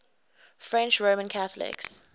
french roman catholics